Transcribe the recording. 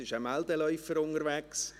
Jetzt ist ein Meldeläufer unterwegs.